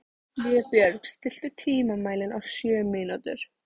Vébjörg, stilltu tímamælinn á sjö mínútur.